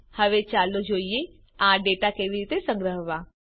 હવે ચાલો જોઈએ આ ડેટા કેવી રીતે સંગ્રહવા